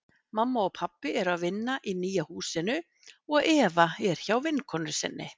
Mamma og pabbi eru að vinna í nýja húsinu og Eva er hjá vinkonu sinni.